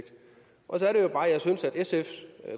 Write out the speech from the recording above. sfs